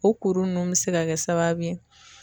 O kuru nunnu bi se ka kɛ sababu ye